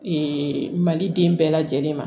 mali den bɛɛ lajɛlen ma